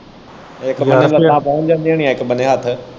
ਇੱਕ ਬੰਨੇ ਲੱਤਾਂ ਪਹੁੰਚ ਜਾਂਦੀਆਂ ਹੋਣੀਆਂ ਇੱਕ ਬੰਨੇ ਹੱਥ।